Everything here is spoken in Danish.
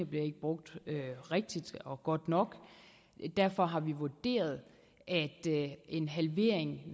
blev brugt rigtigt og godt nok derfor har vi vurderet at en halvering